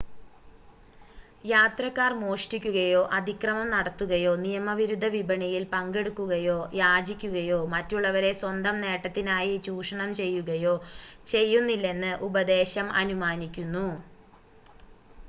യാത്രക്കാർ മോഷ്ടിക്കുകയോ അതിക്രമം നടത്തുകയോ നിയമവിരുദ്ധ വിപണിയിൽ പങ്കെടുക്കുകയോ യാചിക്കുകയോ മറ്റുള്ളവരെ സ്വന്തം നേട്ടത്തിനായി ചൂഷണം ചെയ്യുകയോ ചെയ്യുന്നില്ലെന്ന് ഉപദേശം അനുമാനിക്കുന്നു